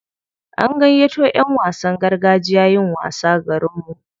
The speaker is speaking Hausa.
An gayyato ƴan wasan gargajiya yin wasa garinmu.